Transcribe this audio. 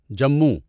Jammu